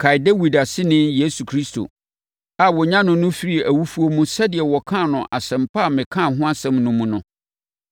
Kae Dawid aseni Yesu Kristo a wɔnyanee no firii awufoɔ mu sɛdeɛ wɔkaa no Asɛmpa a mekaa ho asɛm no mu no.